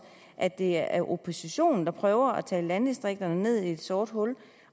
at det er oppositionen der prøver at tale landdistrikterne ned i et sort hul